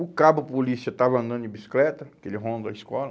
O cabo polícia estava andando de bicicleta, que eles rondam escola.